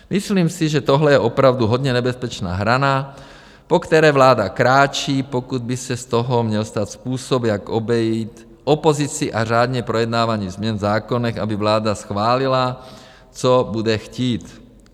Myslím si, že tohle je opravdu hodně nebezpečná hrana, po které vláda kráčí, pokud by se z toho měl stát způsob, jak obejít opozicí a řádně projednávaných změn v zákonech, aby vláda schválila, co bude chtít.